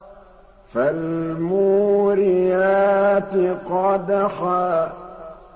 فَالْمُورِيَاتِ قَدْحًا